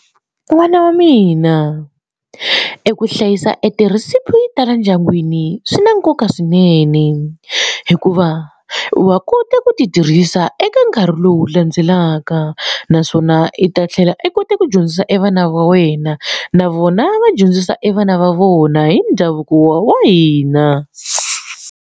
N'wana wa mina eku hlayisa e ti-recipe tala endyangwini swi na nkoka swinene hikuva wa kota ku ti tirhisa eka nkarhi lowu landzelaka naswona i ta tlhela i kote ku dyondzisa e vana va wena na vona va dyondzisa e vana va vona hi ndhavuko wa hina